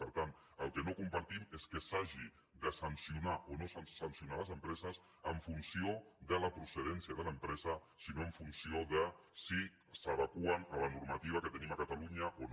per tant el que no compartim és que s’hagi de sancionar o no sancionar les empreses en funció de la procedència de l’empresa sinó en funció de si s’adeqüen a la normativa que tenim a catalunya o no